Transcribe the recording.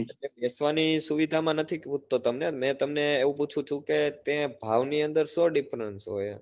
બેસવાની સુવિધા માં નથી તો તમને મેં તમને એવું પૂછ્યું હતું કે તે ભાવ ની અંદર શું difference હોય?